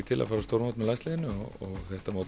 til að fara á stórmót með landsliðinu og þetta mót